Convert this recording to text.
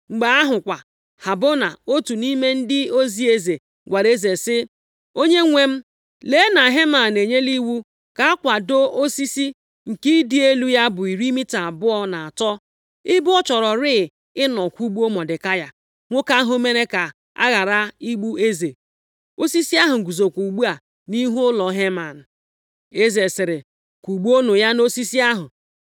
Mgbe ahụ kwa, Habona otu nʼime ndị ozi eze gwara eze sị, “Onyenwe m, lee na Heman enyela iwu ka a kwadoo osisi nke ịdị elu ya bụ iri mita abụọ na atọ, ebe ọ chọrọrị ịnọ kwụgbuo Mọdekai, nwoke ahụ mere ka a ghara igbu eze. Osisi ahụ guzokwa ugbu a nʼihu ụlọ Heman.” Eze sịrị, “Kwụgbuonụ ya nʼosisi ahụ!”